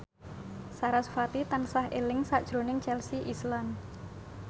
sarasvati tansah eling sakjroning Chelsea Islan